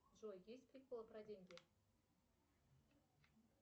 джой есть приколы про деньги